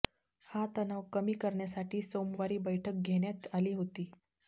हा तणाव कमी करण्यासाठी सोमवारी बैठक घेण्यात आली होती